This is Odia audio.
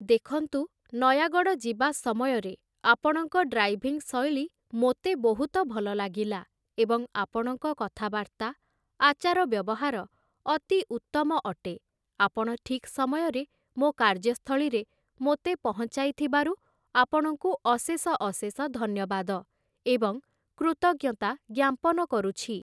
ଦେଖନ୍ତୁ ନୟାଗଡ଼ ଯିବା ସମୟରେ ଆପଣଙ୍କ ଡ୍ରାଇଭିଂ ଶୈଳୀ ମୋତେ ବହୁତ ଭଲ ଲାଗିଲା ଏବଂ ଆପଣଙ୍କ କଥାବାର୍ତ୍ତା, ଆଚାର ବ୍ୟବହାର ଅତି ଉତ୍ତମ ଅଟେ ଆପଣ ଠିକ୍ ସମୟରେ ମୋ' କାର୍ଯ୍ୟସ୍ଥଳୀରେ ମୋତେ ପହଁଞ୍ଚାଇ ଥିବାରୁ ଆପଣଙ୍କୁ ଅଶେଷ ଅଶେଷ ଧନ୍ୟବାଦ ଏବଂ କୃତଜ୍ଞତା ଜ୍ଞାପନ କରୁଛି ।